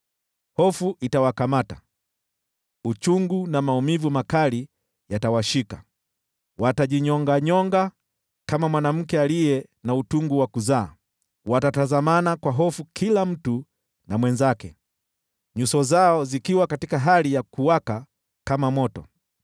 Hofu itawakamata, uchungu na maumivu makali yatawashika, watagaagaa kama mwanamke aliye na utungu wa kuzaa. Watatazamana kwa hofu kila mtu na mwenzake, nyuso zao zikiwaka kama moto.